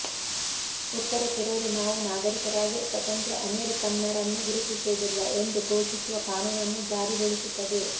ಉತ್ತರ ಕೆರೋಲಿನಾವು ನಾಗರಿಕರಾಗಿ ಸ್ವತಂತ್ರ ಅಮೆರಿಕನ್ನರನ್ನು ಗುರುತಿಸುವುದಿಲ್ಲ ಎಂದು ಘೋಷಿಸುವ ಕಾನೂನನ್ನು ಜಾರಿಗೊಳಿಸುತ್ತದೆ